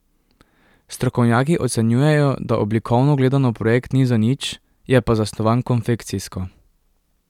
Strokovnjaki ocenjujejo, da oblikovno gledano projekt ni zanič, je pa zasnovan konfekcijsko.